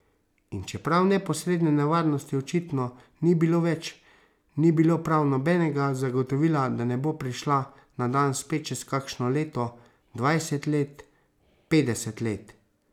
In čeprav neposredne nevarnosti očitno ni bilo več, ni bilo prav nobenega zagotovila, da ne bo prišla na dan spet čez kakšno leto, dvajset let, petdeset let.